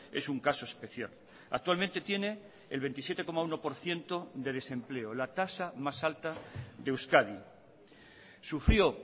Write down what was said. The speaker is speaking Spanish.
es un caso especial actualmente tiene el veintisiete coma uno por ciento de desempleo la tasa más alta de euskadi sufrió